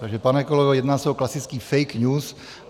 Takže pane kolego, jedná se o klasický fake news.